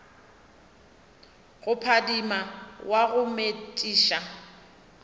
go phadima wa go metšiša